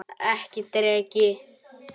Ekki drekka.